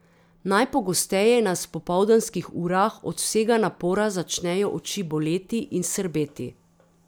Najpogosteje nas v popoldanskih urah od vsega napora začnejo oči boleti in srbeti.